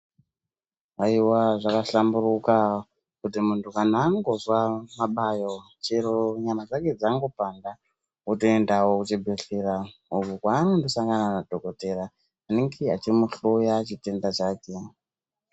Aiwe zvakahlamburuka kuti muntu kana angonzwa mabayo chero nyama dzake dzangopanda otoendawo kuchibhehleya ukokwanondosangana madhokodheya vanenge vachimuhloya chitenda chake.